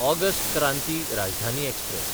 August Kranti Rajdhani express